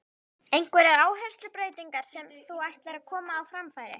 Einhverjar áherslubreytingar sem þú ætlar að koma á framfæri?